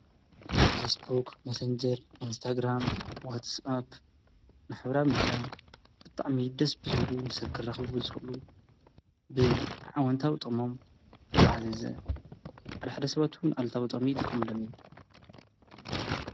ፌስቡክ መሰንጀር ኢንስታግራም ዋትስኣፕ ማሕበራዊ ሚድያ ብጣዕሚ ደስ ብዝብሉ ንሰባት ከራኽቡ ዝኽእሉ ብኣወንታዊ ጥቕሞም ዝዓዘዘ ሓደሓደ ሰባት ኣልታዊ ጥቕሚ ይጥቀምሎም እዮም